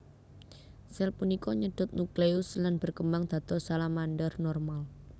Sel punika nyedot nukleus lan berkembang dados salamander normal